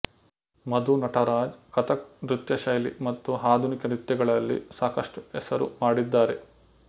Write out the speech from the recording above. ಮಧು ನಟರಾಜ್ ಕಥಕ್ ನೃತ್ಯ ಶೈಲಿ ಮತ್ತು ಆಧುನಿಕ ನೃತ್ಯಗಳಲ್ಲಿ ಸಾಕಷ್ಟು ಹೆಸರು ಮಾಡಿದ್ದಾರೆ